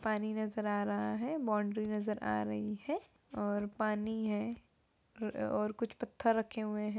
पानी नजर आ रहा है बावन्ड्री नजर आ रही है और पानी है र ओ और कुछ पथर रखे हुएं हैं।